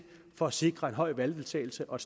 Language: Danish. for at sikre en høj valgdeltagelse og